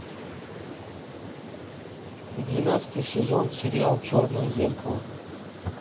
двенадцатый сезон сериал черное зеркало